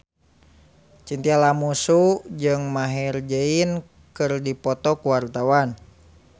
Chintya Lamusu jeung Maher Zein keur dipoto ku wartawan